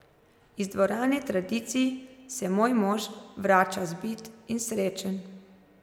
Iz dvorane tradicij se moj mož vrača zbit in srečen.